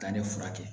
Ka ne furakɛ